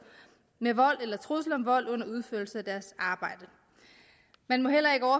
med vold eller trusler om vold under udførelse af deres arbejde man må heller ikke